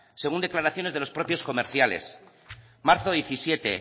según declaraciones de los propios comerciales marzo diecisiete